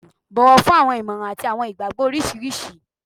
Bọ̀wọ̀ fún awọn ìmọ̀ràn àti àwọn ìgbàgbọ́ oríṣiríṣi